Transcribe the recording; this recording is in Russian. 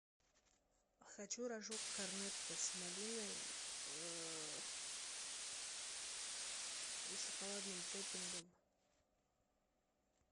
хочу рожок корнетто с малиной и шоколадным топпингом